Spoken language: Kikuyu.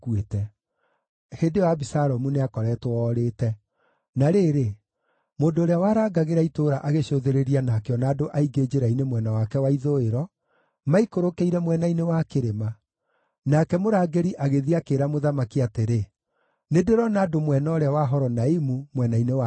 Hĩndĩ ĩyo Abisalomu nĩakoretwo orĩte. Na rĩrĩ, mũndũ ũrĩa warangagĩra itũũra agĩcũthĩrĩria na akĩona andũ aingĩ njĩra-inĩ mwena wake wa ithũĩro, maikũrũkĩire mwena-inĩ wa kĩrĩma. Nake mũrangĩri agĩthiĩ akĩĩra mũthamaki atĩrĩ, “Nĩndĩrona andũ mwena ũũrĩa wa Horonaimu, mwena-inĩ wa kĩrĩma.”